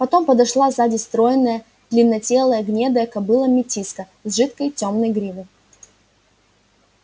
потом подошла сзади стройная длиннотелая гнедая кобыла-метиска с жидкой тёмной гривой